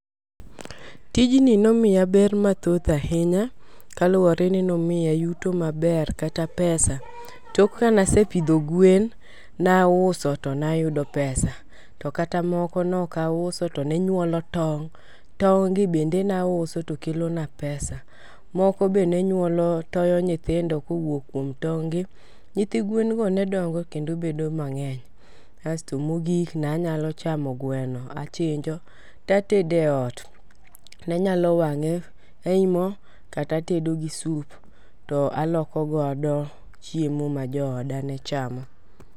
Tijni nomiya ber mathoth ahinya kaluwore ni nomiya yuto maber kata pesa tok kana sepidho gwen nauso to nayudo pesa. To kata moko nok auso to ne nyuolo tong', tong gi bende nauso to kelo na pesa. Moko be nonyuolo toyo nyithindo kowuok kuom tong' gi, nyithi gwen go ne dongo kendobedo mang'eny. Asto mogik nanyalo chamo gweno achinjo tatede ot .ne nyalo wang'e ei moo kata atedo gi sup to aloko godo chiemo ma jooda ne chamo.